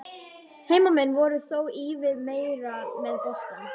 Heimamenn voru þó ívið meira með boltann.